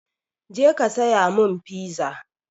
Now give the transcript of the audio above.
Je ka saya mun fiza!